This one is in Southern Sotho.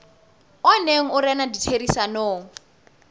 o neng o rena ditherisanong